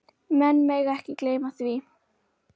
Menn mega ekki gleyma því.